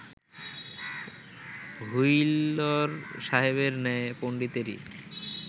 wheeler সাহেবের ন্যায় পণ্ডিতেরই